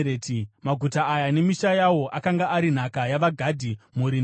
Maguta aya nemisha yawo akanga ari nhaka yavaGadhi, mhuri nemhuri.